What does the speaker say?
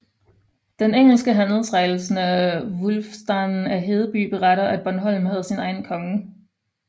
Den engelske handelsrejsende Wulfstan af Hedeby beretter at Bornholm havde sin egen konge